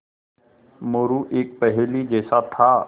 मोरू एक पहेली जैसा था